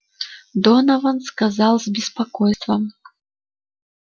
донован сказал с беспокойством